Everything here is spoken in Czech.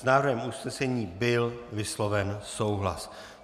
S návrhem usnesení byl vysloven souhlas.